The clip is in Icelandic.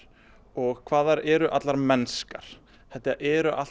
og hvað þær eru allar mennskar þetta eru allt